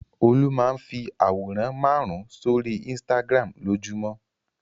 Olú máa ń fi àwòrán márùn-ún sórí Instagram lójúmọ́.